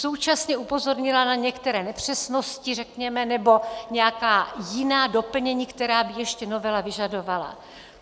Současně upozornila na některé nepřesnosti, řekněme, nebo nějaká jiná doplnění, která by ještě novela vyžadovala.